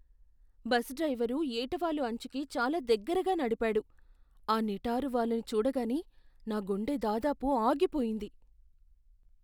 Bus driver ఏటవాలు అంచుకి చాలా దగ్గరగా నడిపాడు, ఆ నిటారు వాలుని చూడగానే నా గుండె దాదాపు ఆగిపోయింది.